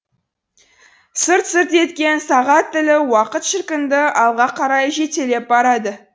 сырт сырт еткен сағат тілі уақыт шіркінді алға қарай жетелеп барады